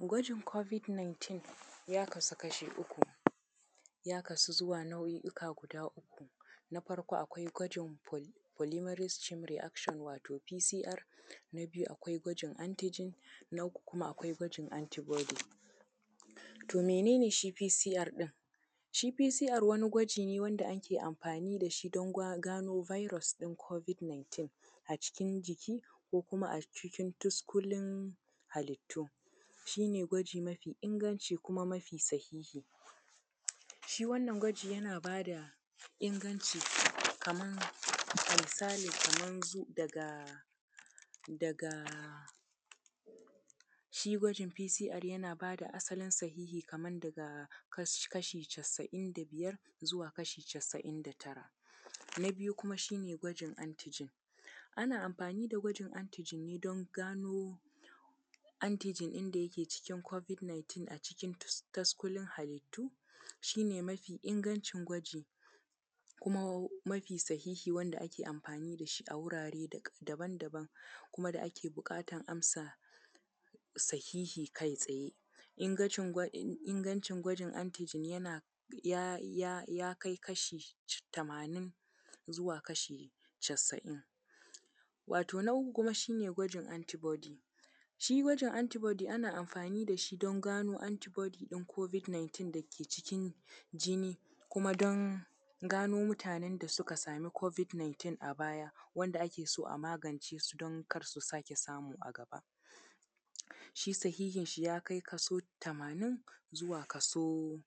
Gwajin Covid 19, ya kasu kashi uku, ya kasu zuwa nau'uka guda uku. Na farko akwai gwajin Polymerase Chain Reaction, wato P.C.R. Na biyu akwai gwajin Antigene. Na uku kuma akwai gwajin Antibody. To mene ne shi P.C.R ɗin? Shi P.C.R wani gwaji ne wanda ake amfani da shi don gano virus ɗin Covid 19, a cikin jiki ko kuma a cikin tuskulun halittu. Shi ne gwaji mafi inganci kuma mafi sahihi. Shi wannan gwaji yana ba da inganci, kaman, a misalin kaman zu, daga, daga, shi gwajin P.C.R yana ba da asalin sahihi kaman daga, kashi casa'in da biyar, zuwa kashi casa'in da tara. Na biyu kuma shi ne gwajin Antigen. Ana amfani da gwajin Antigen ne don gano, Antigen ɗin da yake cikin Covid 19 a cikin taskulun halittu. Shi ne mafi ingancin gwaji, kuma mafi sahihi wanda ake amfani da shi a wurare daban-daban, kuma da ake buƙatar amsa sahihi kai tsaye. Ingancin gwaj, ingancin gwajin Antigen, yana, ya, ya, ya kai kashi tamanin zuwa kashi casa'in. Wato na uku kuma shi ne gwajin Antibody. Shi gwajin Antibody ana amfani da shi don gano Antibody ɗin Covid 19 da ke cikin jini, kuma don gano mutanen da suka sami Covid 19 a baya, wanda ake so a magance su don kar su sake samu a gaba. Shi sahihinshi ya kai kaso tamanin zuwa kaso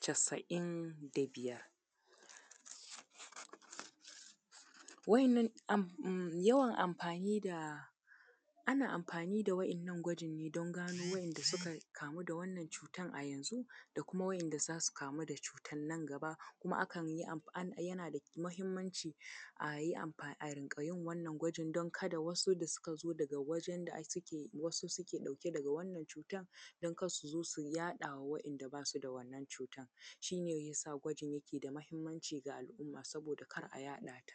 casa'in da biyar. Wa`yannan, amf.. yawan amfani da, ana amfani da wa`ynnan gwajin ne don gano wa`ynda suka kamu da wannan cutar a yanzu, da kuma wa`ynda za su kamu da cutar nan gaba. Kuma akan yi amf… yana da muhimmanci a yi amfa.. a riƙa yin wannan gwajin don kada wasu da suka zo daga wajen da suke, wasu suke ɗauke daga wannan cutar, don kar su zo su yaɗa wa wanda ba su da wannan cutar, shi ne ya sa gwajin yake da matuƙar muhimmanci ga al'umma, saboda kar a yaɗa ta.